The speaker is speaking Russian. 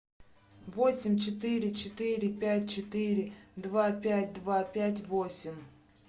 восемь четыре четыре пять четыре два пять два пять восемь